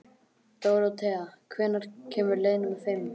Dóróthea, hvenær kemur leið númer fimm?